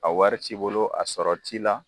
A wari t'i bolo a sɔrɔ t'i la.